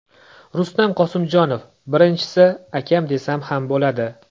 Rustam Qosimjonov: Birinchisi, akam desam ham bo‘ladi.